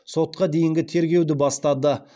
сотқа дейінгі тергеуді бастады